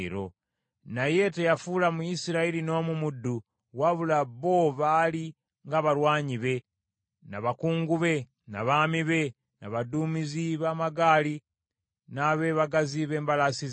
Naye teyafuula Muyisirayiri n’omu muddu, wabula bo baali nga balwanyi be, na bakungu be, na baami be, na baduumizi b’amagaali na beebagazi ba mbalaasi ze.